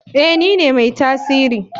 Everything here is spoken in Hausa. Eh nine mai tasiri.